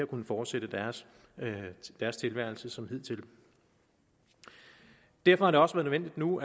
kunnet fortsætte deres deres tilværelse som hidtil derfor er det også nødvendigt nu